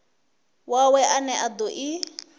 wawe ane a do i